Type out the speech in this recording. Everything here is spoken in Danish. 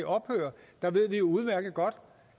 ophører der ved vi udmærket godt